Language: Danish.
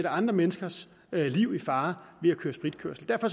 andre menneskers liv i fare ved at køre spritkørsel derfor